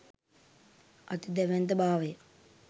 අති දැවැන්ත භාවය